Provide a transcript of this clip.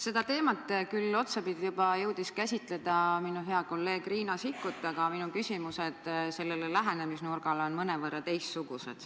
Seda teemat jõudis küll juba otsapidi käsitleda hea kolleeg Riina Sikkut, aga minu küsimuse lähenemisnurk on mõnevõrra teistsugune.